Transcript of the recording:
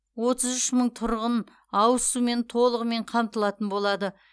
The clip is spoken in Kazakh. отыз үш мың тұрғын ауыз сумен толығымен қамтылатын болады